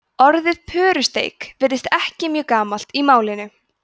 orðið pörusteik virðist ekki mjög gamalt í málinu